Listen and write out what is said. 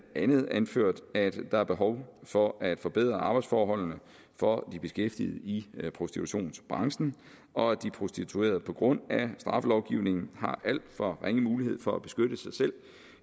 andet anført at der er behov for at forbedre arbejdsforholdene for de beskæftigede i prostitutionsbranchen og at de prostituerede på grund af straffelovgivningen har alt for ringe mulighed for at beskytte sig selv